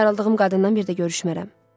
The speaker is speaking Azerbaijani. Ayrıldığım qadından bir də görüşmərəm.